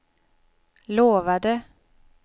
lovade